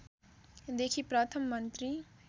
देखि प्रथम मन्त्री